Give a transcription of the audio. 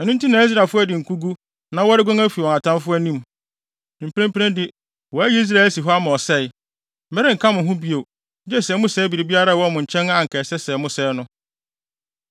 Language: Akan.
Ɛno nti na Israelfo adi nkogu na wɔreguan afi wɔn atamfo anim. Mprempren de, wɔayi Israel asi hɔ ama ɔsɛe. Merenka mo ho bio, gye sɛ mosɛe biribiara a ɛwɔ mo nkyɛn a anka ɛsɛ sɛ mosɛe no.